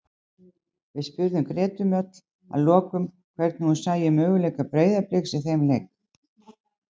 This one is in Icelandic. Við spurðum Gretu Mjöll að lokum hvernig hún sæi möguleika Breiðabliks í þeim leik.